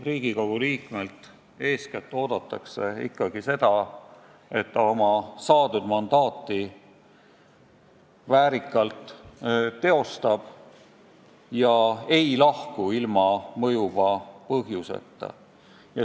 Riigikogu liikmelt oodatakse eeskätt seda, et ta kasutab oma mandaati väärikalt ega lahku ilma mõjuva põhjuseta.